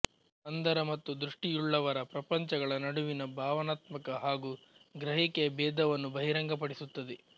ಅಂಧರ ಮತ್ತು ದೃಷ್ಟಿಯುಳ್ಳವರ ಪ್ರಪಂಚಗಳ ನಡುವಿನ ಭಾವನಾತ್ಮಕ ಹಾಗೂ ಗ್ರಹಿಕೆಯ ಭೇದವನ್ನು ಬಹಿರಂಗಪಡಿಸುತ್ತದೆ